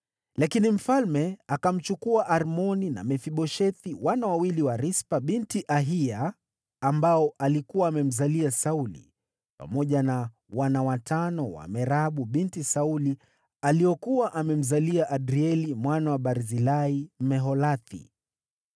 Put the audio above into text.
Lakini mfalme akamchukua Armoni na Mefiboshethi, wana wawili wa Rispa binti Aiya, ambao alikuwa amemzalia Sauli, pamoja na wana watano wa Merabu binti Sauli, aliokuwa amemzalia Adrieli mwana wa Barzilai, Mmeholathi.